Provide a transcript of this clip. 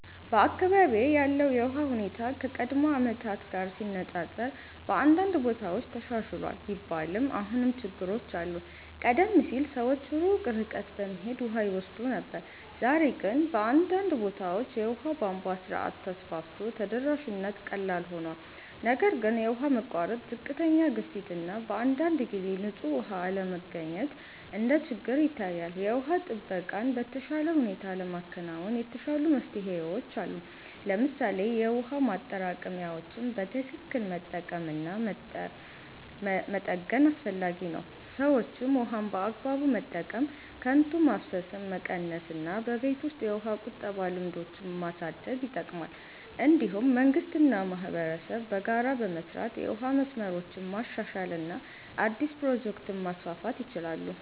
በአካባቢዬ ያለው የውሃ ሁኔታ ከቀድሞ ዓመታት ጋር ሲነፃፀር በአንዳንድ ቦታዎች ተሻሽሏል ቢባልም አሁንም ችግሮች አሉ። ቀደም ሲል ሰዎች ሩቅ ርቀት በመሄድ ውሃ ይወስዱ ነበር፣ ዛሬ ግን በአንዳንድ ቦታዎች የውሃ ቧንቧ ስርዓት ተስፋፍቶ ተደራሽነት ቀላል ሆኗል። ነገር ግን የውሃ መቋረጥ፣ ዝቅተኛ ግፊት እና በአንዳንድ ጊዜ ንጹህ ውሃ አለመገኘት እንደ ችግር ይታያል። የውሃ ጥበቃን በተሻለ ሁኔታ ለማከናወን የተሻሉ መፍትሄዎች አሉ። ለምሳሌ የውሃ ማጠራቀሚያዎችን በትክክል መጠቀም እና መጠገን አስፈላጊ ነው። ሰዎችም ውሃን በአግባቡ መጠቀም፣ ከንቱ ማፍሰስን መቀነስ እና በቤት ውስጥ የውሃ ቁጠባ ልምዶችን ማሳደግ ይጠቅማል። እንዲሁም መንግስት እና ማህበረሰብ በጋራ በመስራት የውሃ መስመሮችን ማሻሻል እና አዲስ ፕሮጀክቶችን ማስፋፋት ይችላሉ።